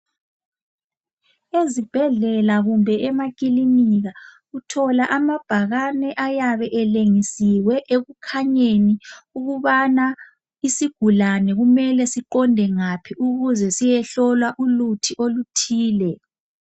Ezibhedlela kumbe emakilinika uthola amabhakane ayabe elengisiwe ekukhanyeni ukubana isigulane kumele siqonde ngaphi ukuze siyehlolwa uluthi oluthile.